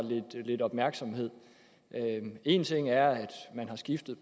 lidt opmærksomhed en ting er at man har skiftet